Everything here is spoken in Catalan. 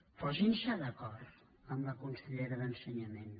posin se d’acord amb la consellera d’ensenyament